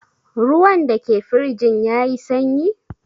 Ruwan da ke firjin ya yi sanyi?